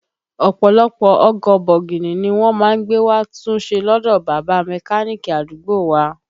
Ọ̀pọ̀lọpọ̀ ọkọ̀ bọ̀gìnì ni wọ́n má ń gbé wá tún ṣe lọdọ bàbá Mẹ́káníìkì àdúgbò wa